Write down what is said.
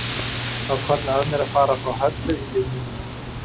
Það hvarflaði að mér að fara og fá Höllu í lið með mér.